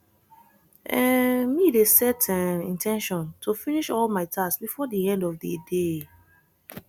um me dey set um in ten tion to finish all my tasks before di end of di day